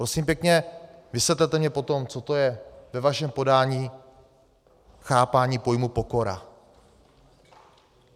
Prosím pěkně, vysvětlete mi potom, co to je ve vašem podání chápání pojmu pokora.